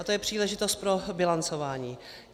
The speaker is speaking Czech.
A to je příležitost pro bilancování.